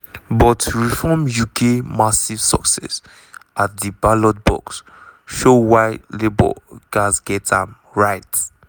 but reform uk massive success at di ballot box show why labour gatz get am right.